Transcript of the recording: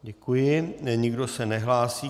Děkuji, nikdo se nehlásí.